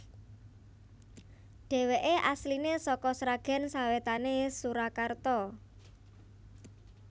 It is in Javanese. Dhèwèké asliné saka Sragèn sawétané Surakarta